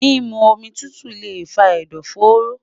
mimu omi tutu le fa ẹdọfóró